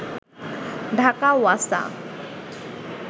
Dhaka Wasa